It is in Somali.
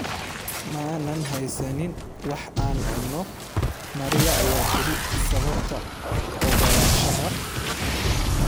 ma aanan haysanin wax aan cuno", Maria ayaa tiri sababta ogolaanshaha.